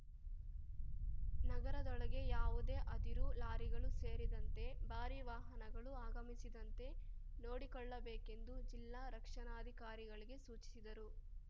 ನಗರದೊಳಗೆ ಯಾವುದೇ ಅದಿರು ಲಾರಿಗಳು ಸೇರಿದಂತೆ ಭಾರಿ ವಾಹನಗಳು ಆಗಮಿಸಿದಂತೆ ನೋಡಿಕೊಳ್ಳಬೇಕೆಂದು ಜಿಲ್ಲಾ ರಕ್ಷಣಾಧಿಕಾರಿಗಳಿಗೆ ಸೂಚಿಸಿದರು